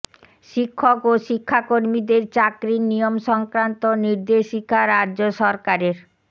শিক্ষক ও শিক্ষাকর্মীদের চাকরির নিয়ম সংক্রান্ত নির্দেশিকা রাজ্য সরকারের